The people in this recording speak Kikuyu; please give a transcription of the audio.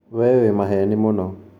Wee wĩ maheeni mũno